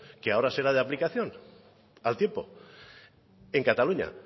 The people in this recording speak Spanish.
que ahora será de aplicación al tiempo en cataluña